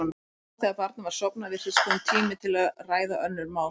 En nú, þegar barnið var sofnað, virtist kominn tími til að ræða önnur mál.